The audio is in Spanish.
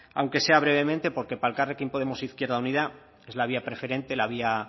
aunque sea brevemente porque para elkarrekin podemos izquierda unida es la vía preferente la vía